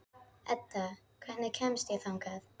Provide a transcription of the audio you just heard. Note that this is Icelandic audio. Edda, hvernig kemst ég þangað?